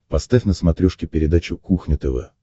поставь на смотрешке передачу кухня тв